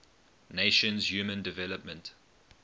nations human development